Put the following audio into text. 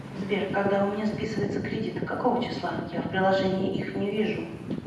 сбер когда у меня списывается кредит какого числа я в приложении их не вижу